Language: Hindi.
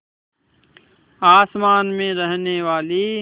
आसमान में रहने वाली